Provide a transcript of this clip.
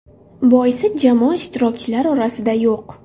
Boisi jamoa ishtirokchilar orasida yo‘q.